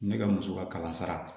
Ne ka muso ka kalan sara